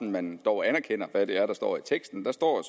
at man dog anerkender hvad det er der står i teksten der står